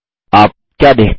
आप क्या देखते हैं